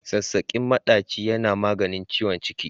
Sassaƙen maɗaci yana maganin ciwon ciki.